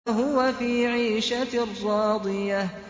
فَهُوَ فِي عِيشَةٍ رَّاضِيَةٍ